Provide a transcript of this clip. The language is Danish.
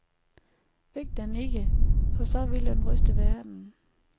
Væk den ikke, for så vil den ryste verden.